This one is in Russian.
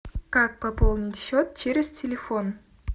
как пополнить счет через телефон